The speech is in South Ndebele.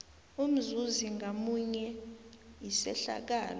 umzuzi ngamunye isehlakalo